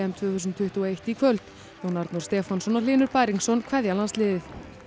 tvö þúsund tuttugu og eitt í kvöld Jón Arnór Stefánsson og Hlynur Bæringsson kveðja landsliðið